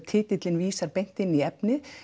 titillinn vísar beint í efnið